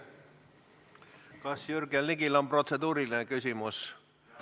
Kas Jürgen Ligil on protseduuriline küsimus?